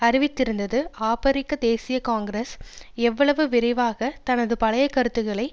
அறிவித்திருந்தது ஆபிரிக்க தேசிய காங்கிரஸ் எவ்வளவு விரைவாக தனது பழைய கருத்துக்களை